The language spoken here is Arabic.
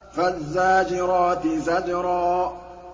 فَالزَّاجِرَاتِ زَجْرًا